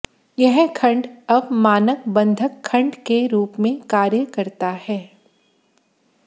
यह खंड अब मानक बंधक खंड के रूप में कार्य करता है